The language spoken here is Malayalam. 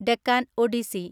ഡെക്കാൻ ഒഡിസി